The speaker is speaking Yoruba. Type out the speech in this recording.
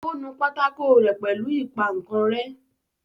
ó nu pátákó rẹ́ pẹ̀lú ìpaǹkanrẹ́.